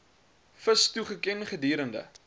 vis toegeken gedurende